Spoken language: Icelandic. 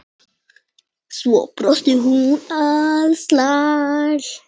Svo brosir hún alsæl.